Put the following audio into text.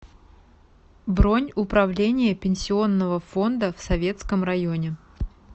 бронь управление пенсионного фонда в советском районе